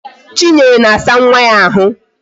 Chinyere na-asa nwa ya ahụ